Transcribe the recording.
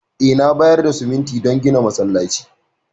Eh, na bayar da siminti don gina masallatai.